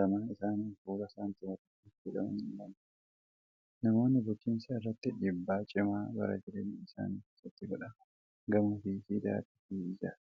Lamaan isaanii fuula saantima tokkooti jedhamanii yaadamu. Namoonni bulchiinsa irratti dhiibbaa cimaa bara jireenya isaanii keessatti godhan gamoo fi siidaa akaasii ijaaru.